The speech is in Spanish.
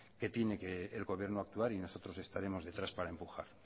que tiene que el gobierno actuar y nosotros estaremos detrás para empujar